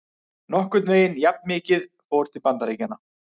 Nokkurn veginn jafnmikið fór til Bandaríkjanna.